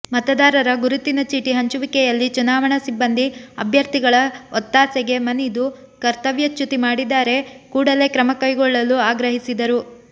ಮತದಾರರ ಗುರುತಿನ ಚೀಟಿ ಹಂಚುವಿಕೆಯಲ್ಲಿ ಚುನಾವಣಾ ಸಿಬ್ಬಂದಿ ಅಭ್ಯರ್ಥಿಗಳ ಒತ್ತಾಸೆಗೆ ಮನಿದು ಕರ್ತವ್ಯಚ್ಯುತಿ ಮಾಡಿದರೆ ಕೂಡಲೇ ಕ್ರಮ ಕೈಗೊಳ್ಳಲು ಆಗ್ರಹಿಸಿದರು